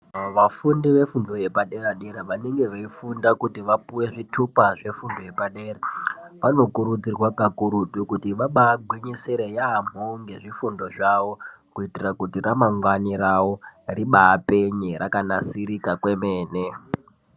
Vafundi vefundo yepadera dera vanenge veifunda kuti vapuwe zvitupa zvefundo yepadera vanokurudzirwa kakurutu kuti vabagwinyisire yambo nezvifundo zvavo kuitira kuti ramangwana rawo riba penye rakanasirika kwemene.